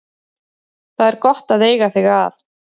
Það er gott að eiga þig að.